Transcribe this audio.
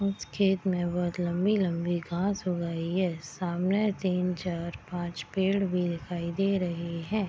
उस खेत में बहुत लम्बी-लम्बी घास ऊग आयी है सामने तीन चार पांच पेड़ भी दिखाई दे रहे हैं।